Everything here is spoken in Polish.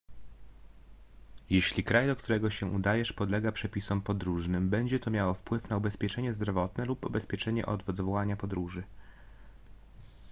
jeśli kraj do którego się udajesz podlega przepisom podróżnym będzie to miało wpływ na ubezpieczenie zdrowotne lub ubezpieczenie od odwołania podróży